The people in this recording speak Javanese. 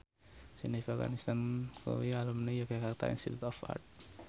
Jennifer Aniston kuwi alumni Yogyakarta Institute of Art